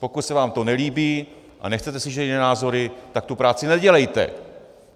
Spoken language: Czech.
Pokud se vám to nelíbí a nechcete slyšet jiné názory, tak tu práci nedělejte.